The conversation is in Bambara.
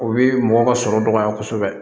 O bi mɔgɔ ka sɔrɔ dɔgɔya kosɛbɛ